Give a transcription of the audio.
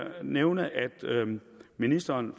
nævne at ministeren